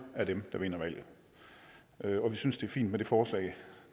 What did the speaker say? er dem der vinder valget vi synes det er fint med det forslag